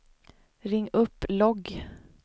ring upp logg